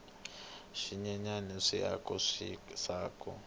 swinyenyani swi aka swisaka